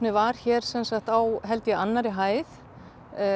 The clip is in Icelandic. var hér sem sagt á held ég annarri hæð